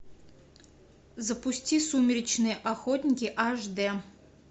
запусти сумеречные охотники аш д